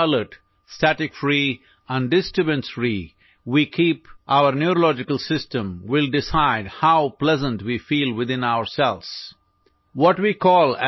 আমাৰ স্নায়ুতন্ত্ৰ কিমান সজাগ সক্ৰিয় আৰু অবিক্ষিপ্ত সেইটোৱেই নিৰ্ধাৰণ কৰে যে আমি নিজৰ ভিতৰত কিমান সুখী অনুভৱ কৰো